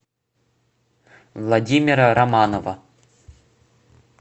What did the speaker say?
владимира романова